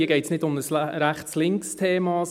Hier geht es nicht um ein Rechts-links-Thema.